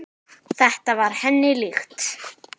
Þetta var henni líkt.